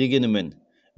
дегенімен